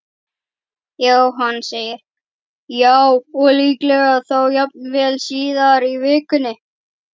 Jóhann: Já, og líklega þá jafnvel síðar í vikunni?